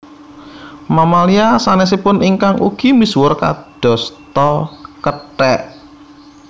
Mamalia sansesipun ingkang ugi misuwur kados ta kethek